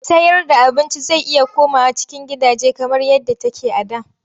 Sayarda abinci zai iya komawa cikin gidaje kamar yadda take a da.